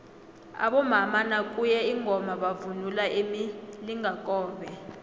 abomama nakuye ingoma bavunula imilingakobe